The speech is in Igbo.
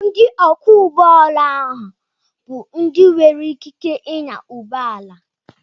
Ndị ọkwọ ụgbọ ala oha bụ ndị nwere ikike ịnya ụgbọ ala